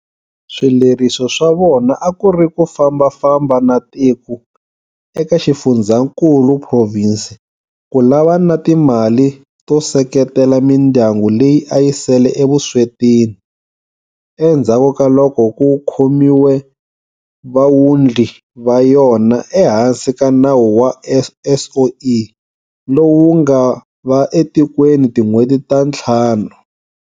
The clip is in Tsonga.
Swileriso swa vona a ku ri ku fambafamba na tiko eka xifundzhankulu, provhinsi, ku lavana na timali to seketela mindyangu leyi a yi sele evuswetini endzhaku ka loko ku khomiwe vawundli va yona ehansi ka nawu wa SOE lowu wu nga va etikweni tin'hweti ta ntlhanu.